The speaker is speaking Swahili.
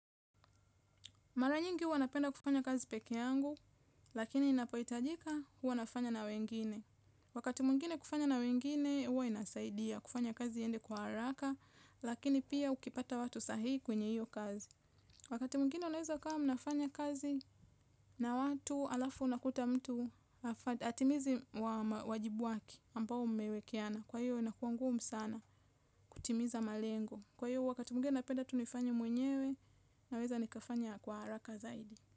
Maranyingi huwa napenda kufanya kazi peke yangu, lakini napoitajika huwa nafanya na wengine. Wakati mwingine kufanya na wengine, huwa inasaidia kufanya kazi iende kwa haraka, lakini pia ukipata watu sahihi kwenye hiyo kazi. Wakati mwingine unaweza ukawa mnafanya kazi na watu alafu unakuta mtu atimizi wajibu wake ambao mmewekiana. Kwa hiyo inakuangumu sana kutimiza malengo. Kwa hiyo wakati mwingine na peda tunifanya mwenyewe naweza nikafanya kwa haraka zaidi.